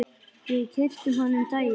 Við keyptum hann um daginn.